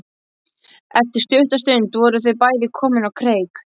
Eftir stutta stund voru þau bæði komin á kreik.